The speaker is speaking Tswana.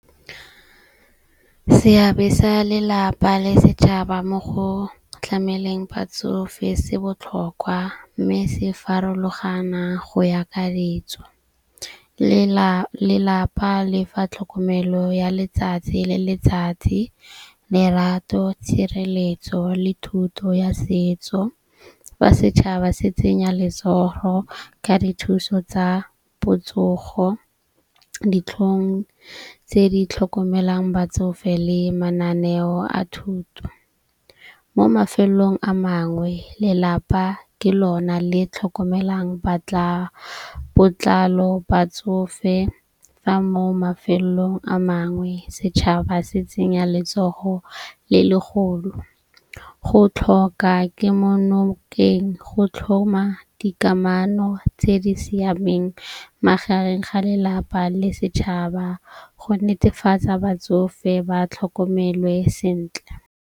Seabe sa lelapa le setšhaba mo go tlhameleng batsofe se botlhokwa. Mme se farologana go ya ka ditso. Lelapa lefa tlhokomelo ya letsatsi le letsatsi, lerato, tshireletso le thuto ya setso. Fa setšhaba se tsenya letsogo ka dithuso tsa botsogo, ditlhong tse di tlhokomelang batsofe le mananeo a thuto. Mo mafelong a mangwe lelapa ke lona le tlhokomelang botlalo batsofe. Fa mo mafelong a mangwe setšhaba se tsenya letsogo le legolo. Go tlhoka kemo nokeng go tlhoma dikamano tse di siameng magareng ga lelapa le setšhaba, go netefatsa batsofe ba tlhokomelwe sentle.